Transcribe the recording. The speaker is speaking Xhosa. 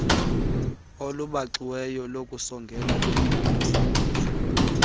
olubaxiweyo lokusongela bengenamsebenzi